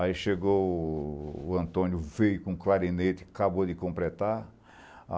Aí chegou o Antônio, veio com clarinete, acabou de completar.